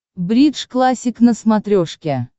бридж классик на смотрешке